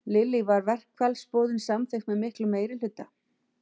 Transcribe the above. Lillý, var verkfallsboðun samþykkt með miklum meirihluta?